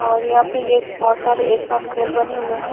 और यहां पे ये बहुत सारे एक साथ घर बने हुए हैं।